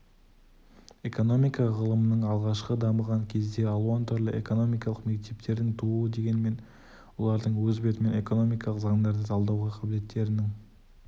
экономика ғылымының алғашқы дамыған кезде алуан түрлі экономикалық мектептердің тууы дегенмен олардың өз бетімен экономикалық заңдарды талдауға қабілеттерінің